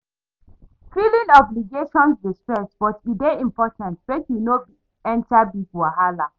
Filing obligations dey stress, but e dey important mek yu no enter bigger wahala